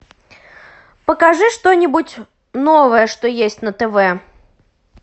покажи что нибудь новое что есть на тв